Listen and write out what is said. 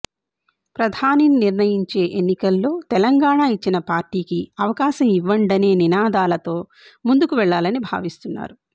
ప్రధానినిని నిర్ణయించే ఎన్నికల్లో తెలంగాణ ఇచ్చిన పార్టీకి అవకాశం ఇవ్వండనే నినాదాలతో ముందుకు వెళ్లాలని భావిస్తున్నారు